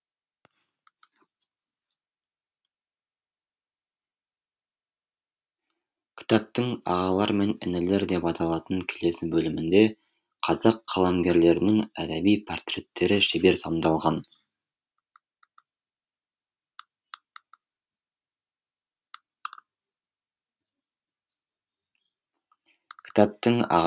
кітаптың ағалар мен інілер деп аталатын келесі бөлімінде қазақ қаламгерлерінің әдеби портреттері шебер сомдалған